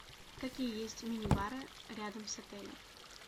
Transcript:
какие есть мини бары рядом с отелем